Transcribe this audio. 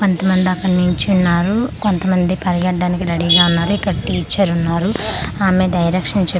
కొంత మంది అక్కడ నిల్చున్నారు కొంత మంది పరిగెత్తడానికి రెడీ గా ఉన్నారు ఇక్కడ టీచర్ ఉన్నారు ఆమె డైరెక్షన్ చెప్పుతుంటే వి--